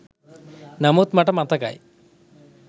නමුත් මට මතකයි